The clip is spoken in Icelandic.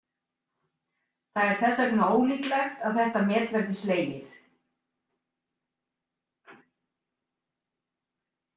Það er þess vegna ólíklegt að þetta met verði slegið.